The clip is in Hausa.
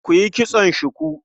Ku yi kitson shuku.